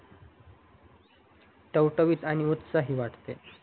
टवटवीत आणि उत्साही वाटते